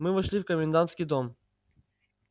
мы вошли в комендантский дом